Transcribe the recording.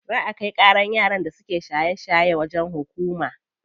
Za a kai ƙaran yaran da suke shaye shaye wajen hukuma.